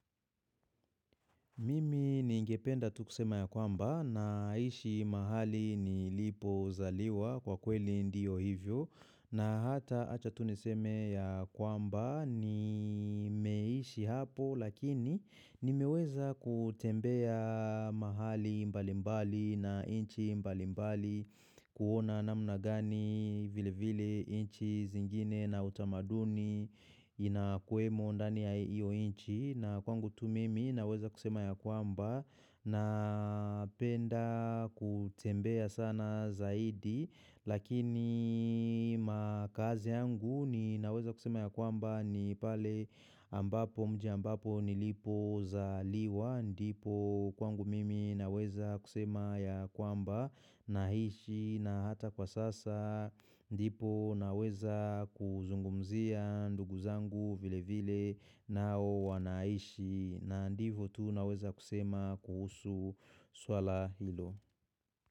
Mimi ni ingependa tukusema ya kwamba na ishi mahali ni lipo zaliwa kwa kweli ndio hivyo na hata achatuniseme ya kwamba ni meishi hapo lakini nimeweza kutembea mahali mbalimbali na inchi mbalimbali kuona namuna gani vile vile inchi zingine na utamaduni inakuemo ndani ya iyo inchi na kwangu tu mimi naweza kusema ya kwamba na penda kutembea sana zaidi Lakini makazi yangu ninaweza kusema ya kwamba ni pale ambapo mji ambapo nilipo za liwa ndipo kwangu mimi naweza kusema ya kwamba na hishi na hata kwa sasa ndipo naweza kuzungumzia ndugu zangu vile vile nao wanaishi na ndivo tu naweza kusema kuhusu swala hilo.